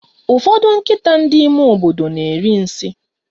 Ụfọdụ nkịta ndị ime obodo na eri nsị